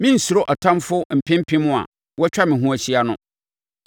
Merensuro atamfoɔ mpem mpem a wɔatwa me ho ahyia no.